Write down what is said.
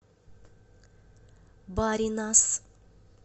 баринас